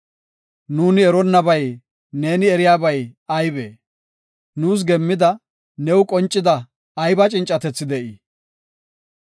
Nuuni eronnabay neeni eriyabay aybee? Nuus geemmidi new qoncida ayba cincatethi de7ii?